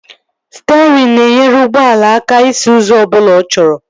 Sterịn na-enyere ụgbọala aka isi ụzọ ọbụla ọ chọrọ